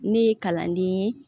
Ne ye kalanden ye